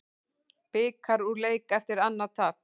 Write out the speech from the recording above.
Blikar úr leik eftir annað tap